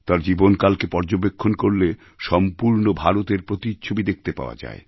তাঁর জীবনকালকে পর্যবেক্ষণ করলে সম্পূর্ণ ভারতের প্রতিচ্ছবি দেখতে পাওয়া যায়